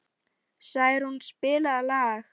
Snærún, spilaðu lag.